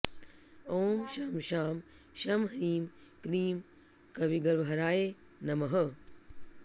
ॐ शं शां षं ह्रीं क्लीं कविगर्वहराय नमः